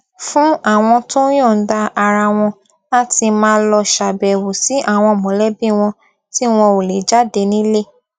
fún àwọn tó yòǹda ara wọn láti máa lọ ṣàbẹwò sí àwọn mòlébí wọn tí wọn ò lè jáde nílé